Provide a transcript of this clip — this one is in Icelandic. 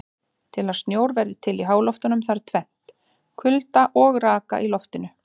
Til að snjór verði til í háloftunum þarf tvennt: Kulda og raka í loftinu.